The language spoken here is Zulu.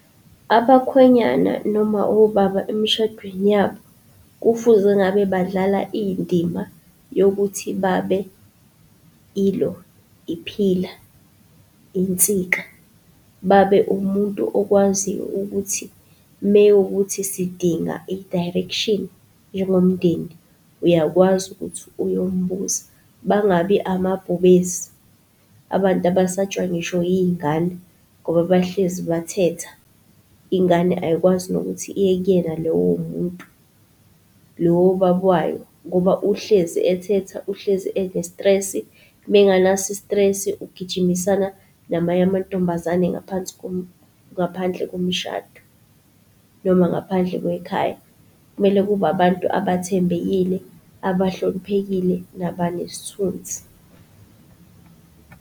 Abakhwenyana, noma obaba, emshadweni yabo, kufuze ngabe badlale indima yokuthi babe ilo, i-pillar, insika. Babe umuntu okwaziyo ukuthi, mekuwukuthi sidinga i-direction njengomndeni, uyakwazi ukuthi uyombuza. Bangabi amabhubesi, abantu abasatshwa ngisho iy'ngane ngoba bahlezi bethetha. Ingane ayikwazi nokuthi iye kuyena lowo muntu, lowo baba wayo, ngoba uhlezi ethetha, uhlezi enesitresi. Mengenaso isitresi ugijimisana namanye amantombazane ngaphansi ngaphandle komshado, noma ngaphandle kwekhaya. Kumele kube abantu abathembekile abahloniphekile nabanesithunzi.